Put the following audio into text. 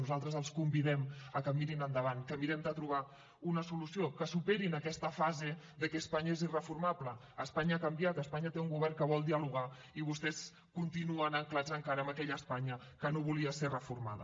nosaltres els convidem a que mirin endavant que mirem de trobar una solució que superin aquesta fase de que espanya és irreformable espanya ha canviat espanya té un govern que vol dialogar i vostès continuen ancorats encara en aquella espanya que no volia ser reformada